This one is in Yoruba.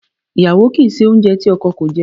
Iyawo ki i se ounje ti oko ko je.